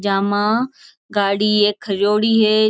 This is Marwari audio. जामा गाड़ी ए खरोड़ी है।